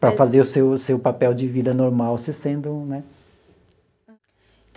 Para fazer o seu seu papel de vida normal, você sendo, né?